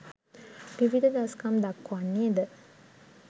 විවිධ දස්කම් දක්වන්නේ ද